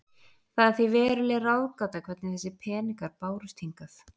Það er því veruleg ráðgáta hvernig þessir peningar bárust hingað.